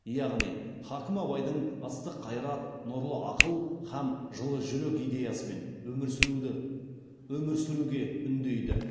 яғни хакім абайдың ыстық қайрат нұрлы ақыл һәм жылы жүрек идеясымен өмір сүруге үндейді